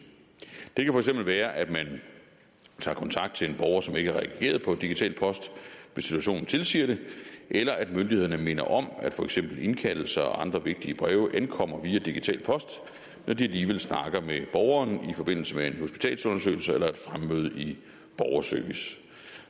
det kan være at man tager kontakt til en borger som ikke har reageret på digital post hvis situationen tilsiger det eller at myndighederne minder om at for eksempel indkaldelser og andre vigtige breve ankommer via digital post når de alligevel snakker med borgeren i forbindelse med en hospitalsundersøgelse eller et fremmøde i borgerservice